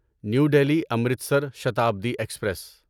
new Delhi Amritsar Shatabdi express